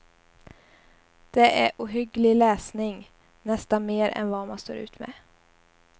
Det är ohygglig läsning, nästan mer än vad man står ut med.